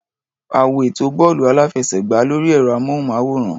A wo ètò bọ́ọ̀lù-àfẹsẹ̀gbá lórí ẹ̀rọ-amóhùnmáwòrán.